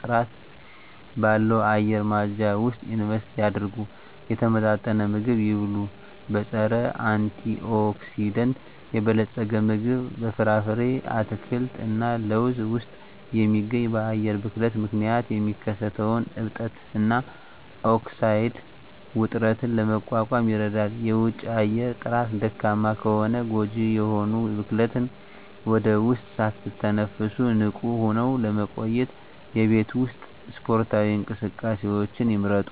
ጥራት ባለው አየር ማጽጃ ውስጥ ኢንቨስት ያድርጉ። የተመጣጠነ ምግብ ይብሉ; በፀረ-አንቲኦክሲዳንት የበለፀገ ምግብ (በፍራፍሬ፣ አትክልት እና ለውዝ ውስጥ የሚገኝ) በአየር ብክለት ምክንያት የሚከሰተውን እብጠት እና ኦክሳይድ ውጥረትን ለመቋቋም ይረዳል። የውጪ አየር ጥራት ደካማ ከሆነ ጎጂ የሆኑ ብክለትን ወደ ውስጥ ሳትተነፍሱ ንቁ ሆነው ለመቆየት የቤት ውስጥ ስፖርታዊ እንቅስቃሴዎችን ይምረጡ።